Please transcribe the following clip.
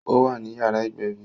Ó wà ní yàrá ìgbẹ̀bí